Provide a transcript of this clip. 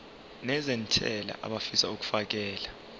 nezentela abafisa uukfakela